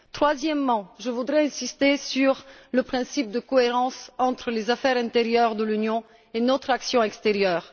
Troisièmement, je voudrais insister sur le principe de cohérence entre les affaires intérieures de l'Union et notre action extérieure.